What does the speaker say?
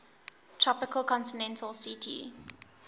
tropical continental ct